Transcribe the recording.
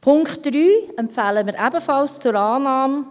Punkt 3 empfehlen wir ebenfalls zur Annahme.